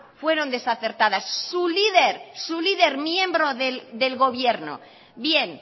fueron desacertadas su líder su líder miembro del gobierno bien